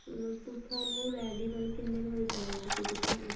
ਤੁਹਾਨੂੰ ready ਮਤਲਬ ਕਿੰਨੇ ਕ ਵਜੇ ਚਾਹੀਦਾ ਤੁਸੀਂ ਕਿੱਥੋ